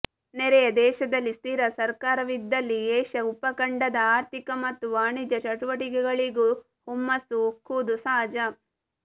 ನೆರೆಯ ದೇಶದಲ್ಲಿ ಸ್ಥಿರ ಸರ್ಕಾರವಿದ್ದಲ್ಲಿ ಏಷ್ಯಾ ಉಪಖಂಡದ ಆರ್ಥಿಕ ಮತ್ತು ವಾಣಿಜ್ಯ ಚಟುವಟಿಕೆಗಳಿಗೂ ಹುಮ್ಮಸ್ಸು ಉಕ್ಕುವುದು ಸಹಜ